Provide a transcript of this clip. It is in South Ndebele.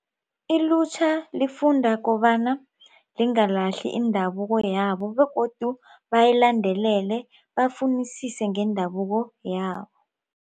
Ilutjha lifunda kobana lingalahli indabuko yabo begodu bayilandelele bafunisise ngeendabuko yabo.